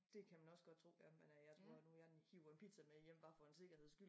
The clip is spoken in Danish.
Dét kan man også godt tro ja men øh jeg tror nu jeg hiver en pizza med hjem bare for en sikkerheds skyld